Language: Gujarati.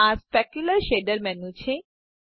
આ સ્પેક્યુલર શેડર મેનું છે